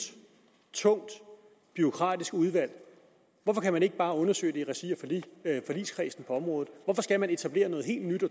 tungt bureaukratisk udvalg hvorfor kan man ikke bare undersøge det i regi af forligskredsen på området hvorfor skal man etablere noget helt nyt